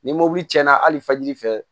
Ni mobili cɛnna hali fajiri fɛ